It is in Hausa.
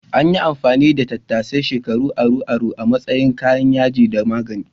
An yi amfani da tattasai shekaru aru-aru a matsayin kayan yaji da magani.